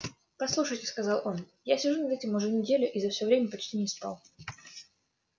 послушайте сказал он я сижу над этим уже неделю и за всё время почти не спал